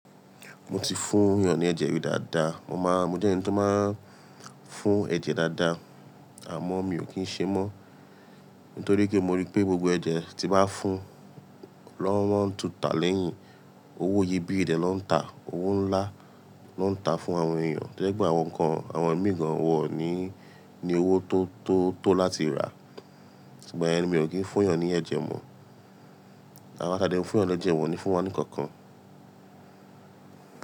Mo ti fún yàn ni ẹ̀jẹ̀ rí dáadáa. Mo máa, mo jẹ́ ẹni tó máa ń fún ẹ̀jẹ̀ dáadáa, àmọ́ mi ò kí ń ṣe mọ́. Nítorí pé mo rí pé gbogbo ẹ̀jẹ̀ tí màá fún lọ́wọ́ ń tuta lẹ́yìn. Owó iye bí ìye de ló ń ta, owó ńlá ló ń ta fún àwọn èèyàn. Lẹ́gbẹ̀ẹ́ àwọn nǹkan, àwọn ẹ̀mí gan wọ́ ní, ní owó tó, tó, tó láti rà. Ṣùgbọ́n mi ò kí ń fún yàn ní ẹ̀jẹ̀ mọ́. Àwà tàdẹ́ n fún yàn ní ẹ̀jẹ̀ wọ́n ni fún wa nìkan kan.